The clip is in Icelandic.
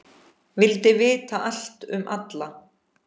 Vildi vita allt um alla.